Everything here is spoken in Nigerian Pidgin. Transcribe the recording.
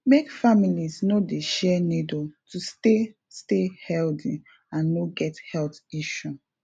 make families no dey share needle to stay stay healthy and no get health issue